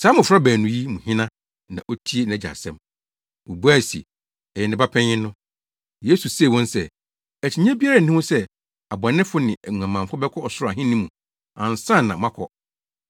“Saa mmofra baanu yi mu hena na otie nʼagya asɛm?” Wobuae se, “Ɛyɛ ne ba panyin no.” Yesu see wɔn se, “Akyinnye biara nni ho sɛ abɔnefo ne nguamanfo bɛkɔ Ɔsoro Ahenni mu ansa na moakɔ.